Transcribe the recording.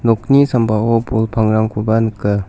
okni sambao bol pangrangkoba nika.